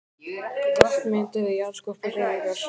Vötn mynduð við jarðskorpuhreyfingar.